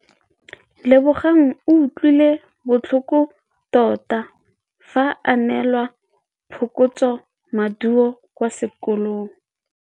Lebogang o utlwile botlhoko tota fa a neelwa phokotsômaduô kwa sekolong.